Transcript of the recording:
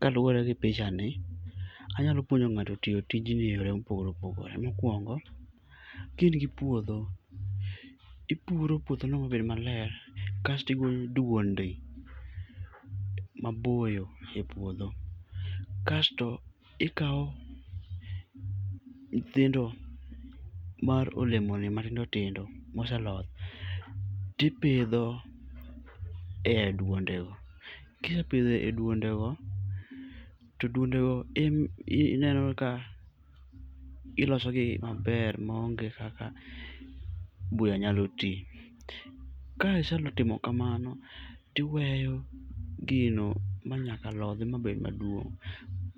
Kaluwore gi pichani, anyalo puonjo ng'ato tiyo tijni eyore mopogore opogore. Mokuongo, ka in gi puodho, ipuro puodhono mabed maler kas tigoyo duonde maboyo ipuodgho. Kasto ikawo nyithindo mar olemoni matindo tindo moseloth tipidho e duonde go. Kisepidho e duondego, to duondego ineno ka ilosogi maber maonge kaka buya nyalo ti. Ka isetimo kamano, tiweyo gino ma nyaka lodhi mabed maduong'